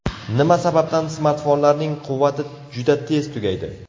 Nima sababdan smartfonlarning quvvati juda tez tugaydi?.